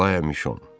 Aqlya Mişon.